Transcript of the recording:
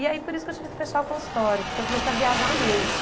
E aí por isso que eu tive que fechar o consultório, porque eu comecei a viajar muito.